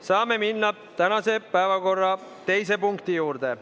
Saame minna tänase päevakorra teise punkti juurde.